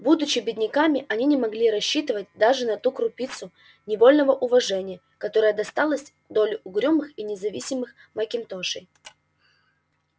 будучи бедняками они не могли рассчитывать даже на ту крупицу невольного уважения которая доставалась на долю угрюмых и независимых макинтошей